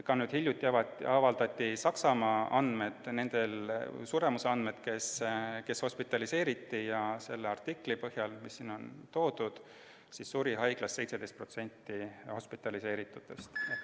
Hiljuti avaldati Saksamaal hospitaliseeritute suremuse andmed ja selle artikli põhjal, mis siin on toodud, suri haiglas 17% hospitaliseeritutest.